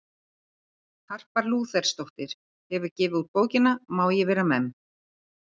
Harpa Lúthersdóttir hefur gefið út bókina Má ég vera memm?